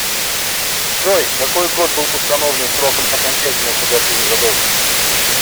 джой какой год был установлен сроком окончательного погашения задолженности